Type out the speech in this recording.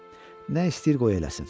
Nə istəyir qoy eləsin.